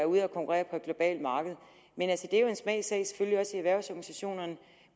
ude at konkurrere på et globalt marked det er jo en smagssag selvfølgelig også erhvervsorganisationerne